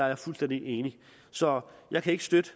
jeg fuldstændig enig i så jeg kan ikke støtte